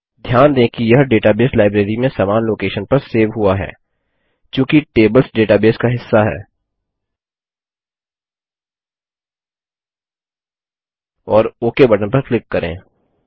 ध्यान दें कि यह डेटाबेस लाइब्रेरी में समान लोकेशन पर सेव हुआ है चूंकि टेबल्स डेटाबेस का हिस्सा हैं और ओक बटन पर क्लिक करें